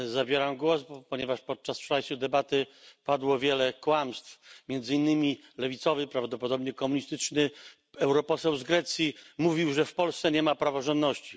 Zabieram głos, ponieważ podczas wczorajszej debaty padło wiele kłamstw. Między innymi lewicowy, prawdopodobnie komunistyczny poseł z Grecji mówił, że w Polsce nie ma praworządności.